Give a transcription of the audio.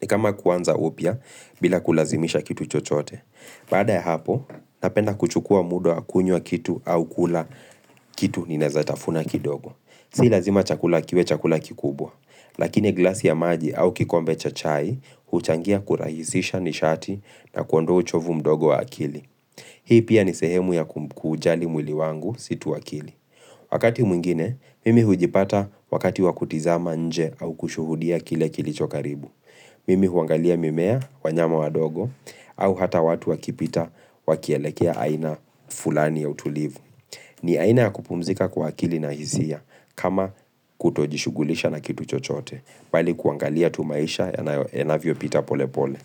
ni kama kuanza upya bila kulazimisha kitu chochote Baada ya hapo, napenda kuchukua muda wa kunywa kitu au kula kitu ninaezatafuna kidogo. Si lazima chakula kiwe chakula kikubwa Lakini glasi ya maji au kikombe cha chai huchangia kurahisisha nishati na kuondoa uchovu mdogo wa akili Hii pia ni sehemu ya kuujali mwili wangu si tu akili Wakati mwingine, mimi hujipata wakati wakutizama nje au kushuhudia kile kilicho karibu. Mimi huangalia mimea, wanyama wadogo, au hata watu wakipita wakielekea aina fulani ya utulivu. Ni aina ya kupumzika kwa akili na hisia, kama kutojishughulisha na kitu chochote, bali kuangalia tu maisha yanavyo pita pole pole.